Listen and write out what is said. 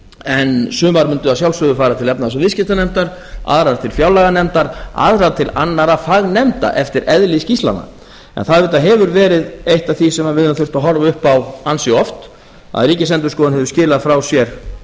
en sumar myndu að sjálfsögðu fara til efnahags og viðskiptanefndar aðrar til fjárlaganefndar aðrar til annarra fagnefnda eftir eðli skýrslnanna það auðvitað hefur verið eitt af því sem við höfum þurft að horfa upp á ansi oft að ríkisendurskoðun hefur skilað frá sér